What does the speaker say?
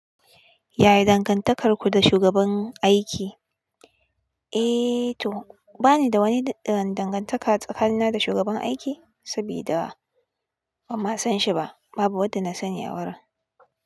Yaya dangantakarku da shugaban aiki? Eh to bani da wani dangantaka tsakanina da shugaban aiki, saboda ban ma san shi ba. Babu wadda na sani a wurin.